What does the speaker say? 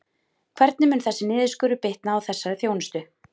Hvernig mun þessi niðurskurður bitna á þessari þjónustu?